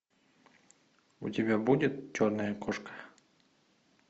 у тебя будет черная кошка